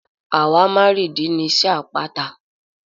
Àwámárììdí ni iṣẹ́ àpáta.